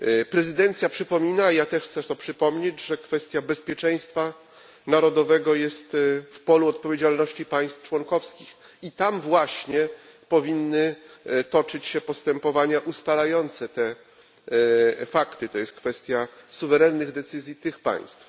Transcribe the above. Prezydencja przypomina, ja też chcę to przypomnieć, że kwestia bezpieczeństwa narodowego jest w polu odpowiedzialności państw członkowskich i tam właśnie powinny toczyć się postępowania ustalające te fakty. Jest to kwestia suwerennych decyzji tych państw.